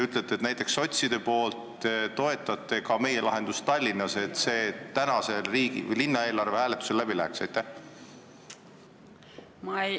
Ja kas te sotsidena toetate meie lahendust Tallinnas, et see täna linnaeelarve hääletusel läbi läheks?